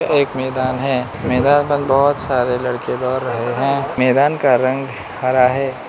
एक मैदान हैं मैदान पर बहोत सारे लड़के दौड़ रहे हैं मैदान का रंग हरा हैं।